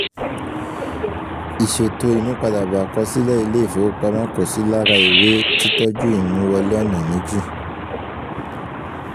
ìṣètò ìmúpadàbọ̀ àkọsílẹ̀ ilé ìfowopamọ́ kò sì lára ìwé-títọ́jú imú wọlé ọ̀nà méjì